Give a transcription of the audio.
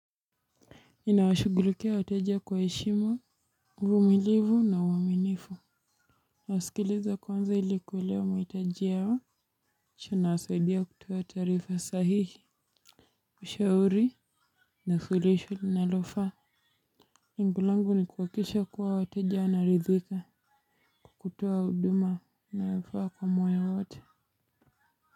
Ninawashughulikia wateja kwa heshima, uvumilivu na uaminifu. Nasikiliza kwanza ili kuelewa mahitajia yao. Kisha nawasaidia kutoa taarifa sahihi. Ushauri na furisho linalofaa. Iengo langu ni kuhakikisha kuwa wateja wanaridhika. Kwa kutoa huduma inayofaa kwa moyo wote.